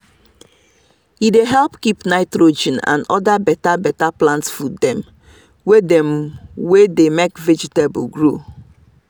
e dey help keep nitrogen and other better better plant food dem wey dem wey dey make vegetable grow.